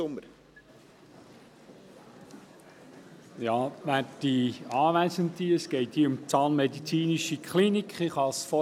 der BaK. Es geht hier um die Zahnmedizinischen Kliniken (ZMK Bern).